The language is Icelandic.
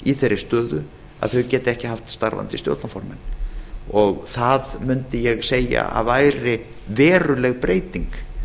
í þeirri stöðu að þau geta ekki haft starfandi stjórnarformenn og það mundi ég segja að væri veruleg breyting